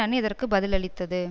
அணி இதற்கு பதிலளித்தது